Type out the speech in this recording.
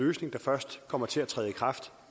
løsning der først kommer til at træde i kraft